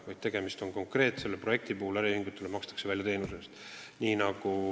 Selle projekti puhul on tegemist tõsiasjaga, et äriühingutele makstakse raha teenuse osutamise eest.